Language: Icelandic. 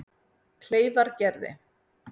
Kleifargerði